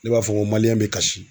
Ne b'a fɔ n ko bɛ kasi.